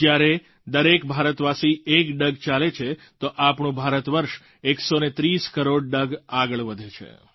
જ્યારે દરેક ભારતવાસી એક ડગ ચાલે છે તો આપણું ભારતવર્ષ 130 કરોડ ડગ આગળ વધે છે